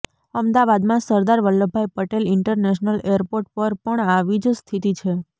અમદાવાદમાં Sardar Vallabhbhai Patel international airport પર પણ આવી જ સ્થિતિ છે